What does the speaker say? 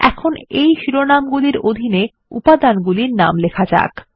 এখন এই শিরোনাম্গুলির অধীন উপাদানগুলির নাম লিখুন